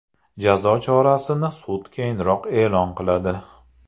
Jazo chorasini sud keyinroq e’lon qiladi.